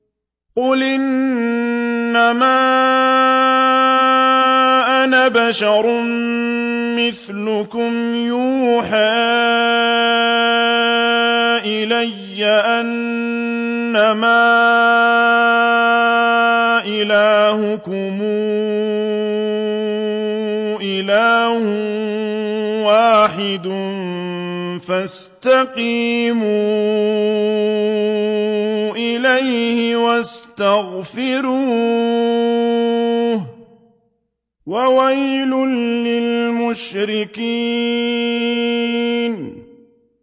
قُلْ إِنَّمَا أَنَا بَشَرٌ مِّثْلُكُمْ يُوحَىٰ إِلَيَّ أَنَّمَا إِلَٰهُكُمْ إِلَٰهٌ وَاحِدٌ فَاسْتَقِيمُوا إِلَيْهِ وَاسْتَغْفِرُوهُ ۗ وَوَيْلٌ لِّلْمُشْرِكِينَ